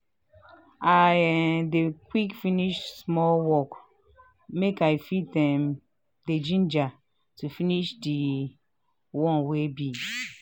i um um dey quick finish small work make i fit um dey gingered to finish di um ones wey big.